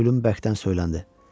Pilyum bərkdən söyləndi.